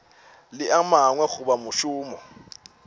le a mangwe goba mošomo